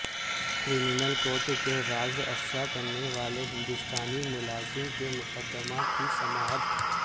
criminal court کے راز افشا کرنےوالے ہندوستانی ملازم کے مقدمہ کی سماعت